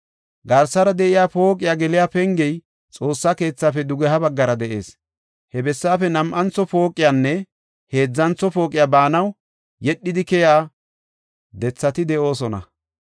Garsara de7iya pooqiya geliya pengey Xoossa keethaafe dugeha baggara de7ees; he bessaafe nam7antho pooqiyanne heedzantho pooqiya baanaw yedhidi keyiya dethati de7oosona.